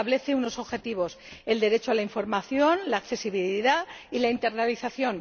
y establece unos objetivos el derecho a la información, la accesibilidad y la internalización.